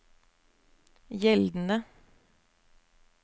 gjeldende